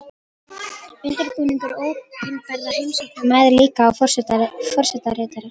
Undirbúningur opinberra heimsókna mæðir líka á forsetaritara.